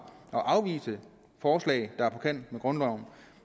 at afvise forslag der er på kant med grundloven